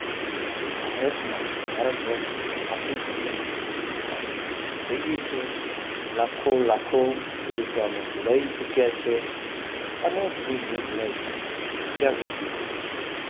ભારત માં ભારતવર્ષ માં આપણી ભૂમિ માં એની શરૂઆત થઇ ગઈ છે લખો લખો ખેડૂતો એમાં જોડાઈ ચુક્યા છે અને ધીમે ધીમે જોડાઈ રહ્યા છે જાગૃતિ આવી રહી છે